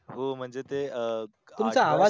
हो म्हणजे ते अं